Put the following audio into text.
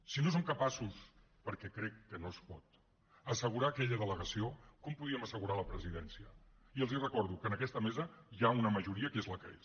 si no som capaços perquè crec que no es pot d’assegurar aquella delegació com podríem assegurar la presidència i els recordo que en aquesta mesa hi ha una majoria que és la que és